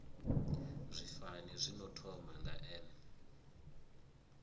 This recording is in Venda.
zwifani zwino thoma nga n